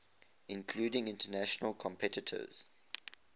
including international competitors